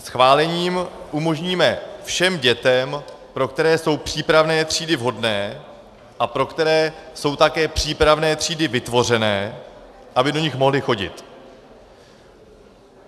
Schválením umožníme všem dětem, pro které jsou přípravné třídy vhodné a pro které jsou také přípravné třídy vytvořené, aby do nich mohly chodit.